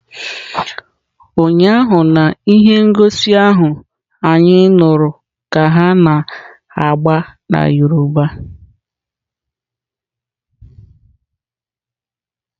Ụnyaahụ na ihe ngosi ahụ anyị nụrụ ka ha na-agba na Yoruba.